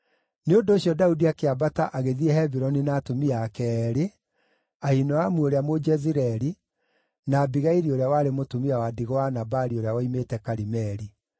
Nĩ ũndũ ũcio Daudi akĩambata agĩthiĩ Hebironi na atumia ake eerĩ, Ahinoamu ũrĩa Mũjezireeli, na Abigaili ũrĩa warĩ mũtumia wa ndigwa wa Nabali ũrĩa woimĩte Karimeli.